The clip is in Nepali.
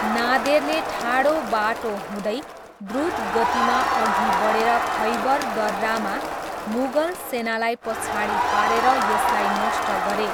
नादेरले ठाडो बाटो हुँदै द्रुत गतिमा अघि बढेर खैबर दर्रामा मुगल सेनालाई पछाडि पारेर यसलाई नष्ट गरे।